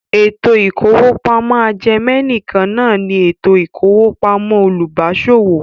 Ètò ìkówópamọ́ ajẹmẹ̀nìkan náà ní ètò ìkówópamọ́ olùbáṣòwò.